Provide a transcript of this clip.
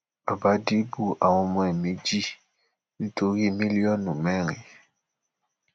bàbá dìgbù àwọn ọmọ ẹ méjì ẹ méjì nítorí mílíọnù mẹrin